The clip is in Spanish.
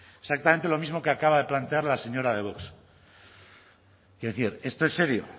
exactamente lo mismo que acaba de plantear la señora de vox quiero decir esto es serio